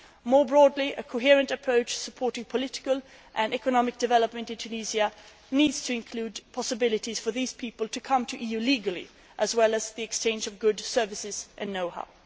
More broadly, a coherent approach supporting political and economic development in Tunisia needs to include possibilities for these people to come to the EU legally, as well as the exchange of goods, services and know how.